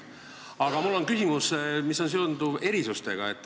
Aga mul on küsimus, mis on seotud erisustega.